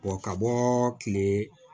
ka bɔ kile